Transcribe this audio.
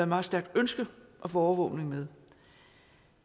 meget stærkt ønske at få overvågning med